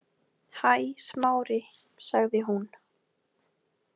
Hæ, Smári- sagði hún.